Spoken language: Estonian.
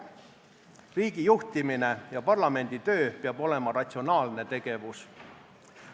Riigi juhtimine ja parlamenditöö peab olema ratsionaalne tegevus.